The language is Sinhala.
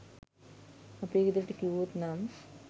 අපේ ගෙදරට කිව්වොත් නම්